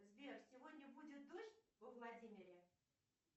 сбер сегодня будет дождь во владимире